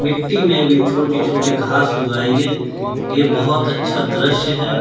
मिट्टी में भी छोटी छोटी घास उगाई है ये बहुत अच्छा दृश्य है।